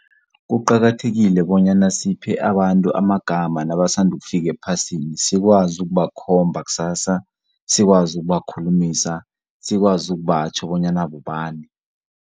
Kuqakathekile bonyana siphe abantu amagama nabasanda ukufika ephasini sikwazi ukubakhomba kusasa, sikwazi ukubakhulumisa sikwazi ukubatjho bonyana bobani.